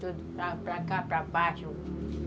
Tudo para cá, para baixo.